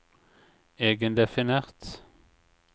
egendefinert